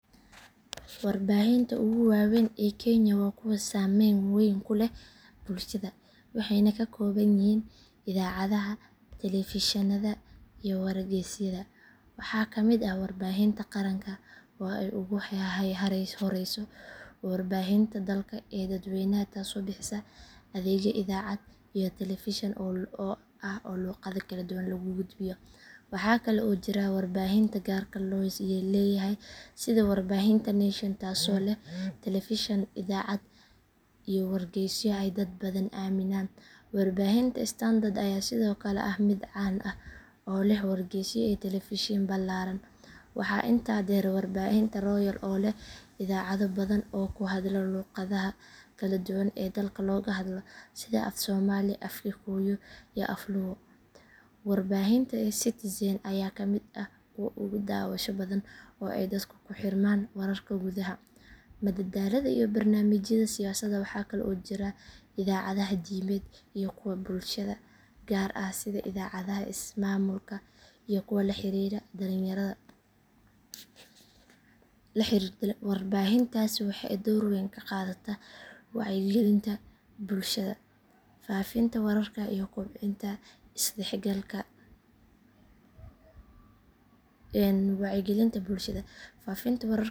Warbaahinta ugu waaweyn ee kenya waa kuwa saameyn weyn ku leh bulshada waxayna ka kooban yihiin idaacadaha, telefishinnada iyo wargeysyada. Waxaa ka mid ah warbaahinta qaranka oo ay ugu horeyso warbaahinta dalka ee dadweynaha taasoo bixisa adeegyo idaacad iyo telefishin ah oo luqado kala duwan lagu gudbiyo. Waxaa kale oo jira warbaahinta gaarka loo leeyahay sida warbaahinta nation taasoo leh telefishin, idaacad iyo wargeysyo ay dad badan aaminaan. Warbaahinta standard ayaa sidoo kale ah mid caan ah oo leh wargeysyo iyo telefishin ballaaran. Waxaa intaa dheer warbaahinta royal oo leh idaacado badan oo ku hadla luqadaha kala duwan ee dalka looga hadlo sida af soomaali, af kikuyu iyo af luo. Warbaahinta citizen ayaa ka mid ah kuwa ugu daawasho badan oo ay dadku ku xirmaan wararka gudaha, madadaalada iyo barnaamijyada siyaasadda. Waxaa kale oo jira idaacadaha diimeed iyo kuwa bulshada gaar ah sida idaacadaha ismaamulka iyo kuwa la xiriira dhalinyarada. Warbaahintaasi waxay door weyn ka qaadataa wacyigelinta bulshada, faafinta wararka iyo kobcinta isdhexgalka bulshada kenya.